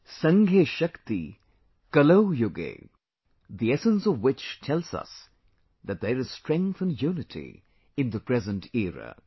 'Sanghe Shakti, Kalau Yuge'; the essence of which tells us that there is strength in unity in the present era